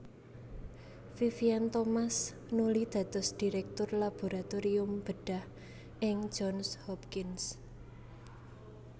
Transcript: Vivien Thomas nuli dados Direktur Laboratorium Bedhah ing Johns Hopkins